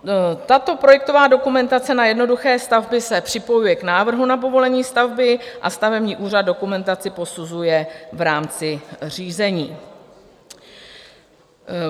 Tato projektová dokumentace na jednoduché stavby se připojuje k návrhu na povolení stavby a stavební úřad dokumentaci posuzuje v rámci řízení.